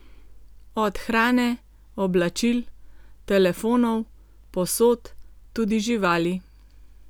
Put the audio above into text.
Od hrane, oblačil, telefonov, posod, tudi živali.